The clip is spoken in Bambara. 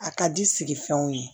A ka di sigi fenw ye